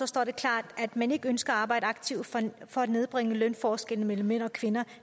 står der klart at man ikke ønsker at arbejde aktivt for at nedbringe lønforskelle mellem mænd og kvinder